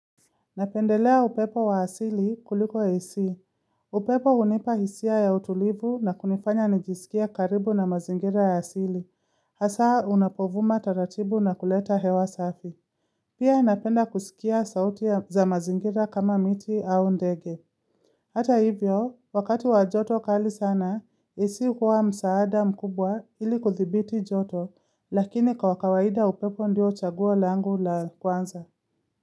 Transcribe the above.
Napendelea upepo wa asili kuliko AC. Upepo unipa hisia ya utulivu na kunifanya nijisikie karibu na mazingira ya asili. Hasa unapovuma taratibu na kuleta hewa safi. Pia napenda kusikia sauti za mazingira kama miti au ndege. Hata hivyo, wakati wa joto kali sana, AC hukuwa msaada mkubwa ili kuthibiti joto, lakini kwa kawaida upepo ndio chaguo langu la kwanza.